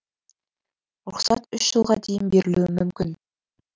рұқсат үш жылға дейін берілуі мүмкін